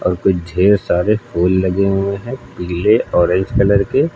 और कुछ ढेर सारे फूल लगे हुए हैं पीले ऑरेंज कलर के--